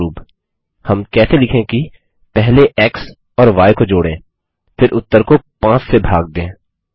उदाहरणस्वरुप हम कैसे लिखें कि पहले एक्स और य को जोड़ें फिर उत्तर को 5 से भाग दें